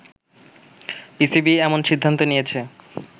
PCB এমন সিদ্ধান্ত নিয়েছে